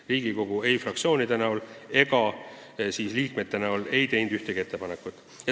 Riigikogu fraktsioonid ega liikmed ei teinud ühtegi ettepanekut.